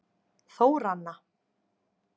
Þóranna